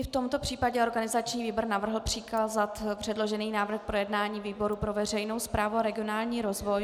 I v tomto případě organizační výbor navrhl přikázat předložený návrh k projednání výboru pro veřejnou správu a regionální rozvoj.